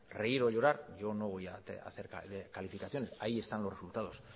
reír o llorar yo no voy a hacer calificaciones ahí están los resultados